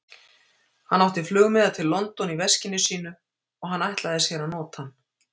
Hann átti flugmiða til London í veskinu sínu, og hann ætlaði sér að nota hann.